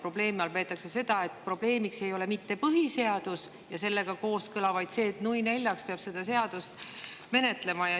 Ma pean silmas seda, et probleemiks ei ole mitte põhiseadus ja sellega kooskõla, vaid see, et nui neljaks peab seda menetlema.